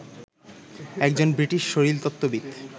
একজন ব্রিটিশ শারীরতত্ত্ববিদ